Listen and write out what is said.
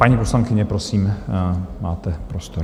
Paní poslankyně, prosím, máte prostor.